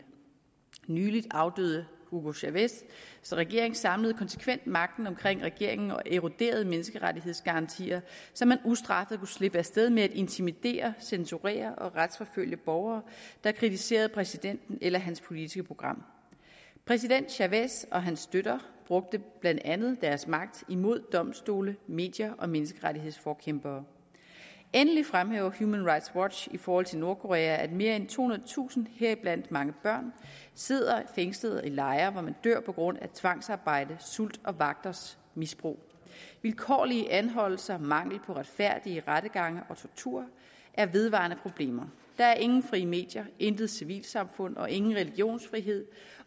nylig afdøde hugo chávez regering samlede konsekvent magten omkring regeringen og eroderede menneskerettighedsgarantier så man ustraffet kunne slippe af sted med at intimidere censurere og retsforfølge borgere der kritiserede præsidenten eller hans politiske program præsident chávez og hans støtter brugte blandt andet deres magt imod domstole medier og menneskerettighedsforkæmpere endelig fremhæver human rights watch i forhold til nordkorea at mere end tohundredetusind heriblandt mange børn sidder fængslet i lejre hvor man dør på grund af tvangsarbejde sult og vagters misbrug vilkårlige anholdelser mangel på retfærdige rettergange og tortur er vedvarende problemer der er ingen frie medier intet civilsamfund og ingen religionsfrihed